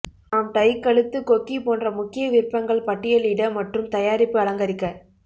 நாம் டை கழுத்து கொக்கி போன்ற முக்கிய விருப்பங்கள் பட்டியலிட மற்றும் தயாரிப்பு அலங்கரிக்க